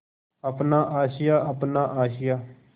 अपना आशियाँ अपना आशियाँ